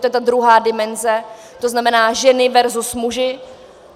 To je ta druhá dimenze, to znamená ženy versus muži.